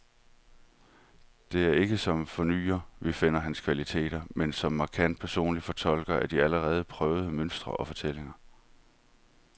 Det er ikke som fornyer, vi finder hans kvaliteter, men som markant personlig fortolker af de allerede prøvede mønstre og fortællinger.